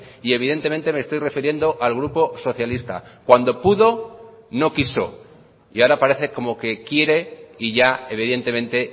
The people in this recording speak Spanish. y evidentemente me estoy refiriendo al grupo socialista cuando pudo no quiso y ahora parece como que quiere y ya evidentemente